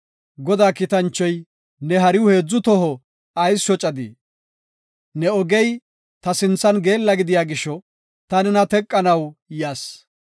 Godaa kiitanchoy, “Ne hariw heedzu toho ayis shocadii? Ne ogey ta sinthan geella gidiya gisho ta nena teqanaw yas.